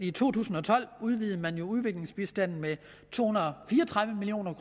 i to tusind og tolv øgede udviklingsbistanden med to hundrede og fire og tredive million